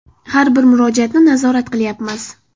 Har bir murojaatni nazorat qilyapmiz.